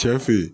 Cɛ fe ye